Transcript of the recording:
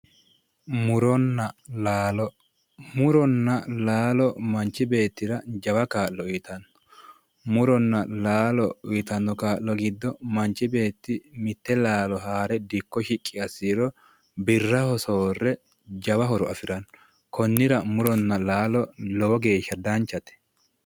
Muronna laalo Muronna laalo manchi beettira jawa kaa'lo uyiitanno. Muronna laalo uyitanno kaa'lo giddo manchi beetti mitte laalo haare dikko shiqqi assiha ikkiro birraho soorre jawa horo afiranno konnira muronna laalo lowo geeshsha danchate.